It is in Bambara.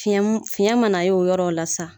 Fiyɛn mun fiyɛn mana ye o yɔrɔw la sisan.